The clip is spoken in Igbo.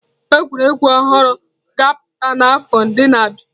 Egwuregwu ọhụrụ ga-apụta n'afọ ndị na-abịa.